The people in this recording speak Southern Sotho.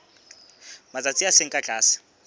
matsatsi a seng ka tlase